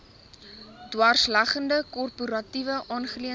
dwarsleggende korporatiewe aangeleenthede